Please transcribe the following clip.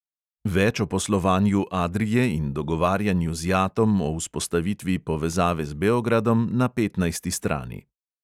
Več o poslovanju adrie in dogovarjanju z jatom o vzpostavitvi povezave z beogradom na petnajsti strani.